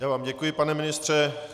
Já vám děkuji, pane ministře.